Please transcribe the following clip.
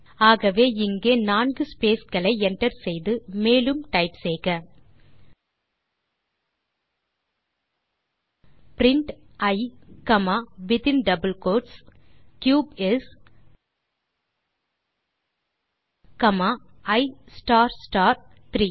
ஆகவே இங்கே நான்கு ஸ்பேஸ் களை enter செய்து மேலும் டைப் செய்க print e comma within double quotes cube is comma e star star 3